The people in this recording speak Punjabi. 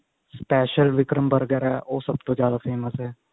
special ਵਿਕਰਮ burger ਉਹ ਸਭ ਤੋਂ ਜਿਆਦਾ famous ਹੈ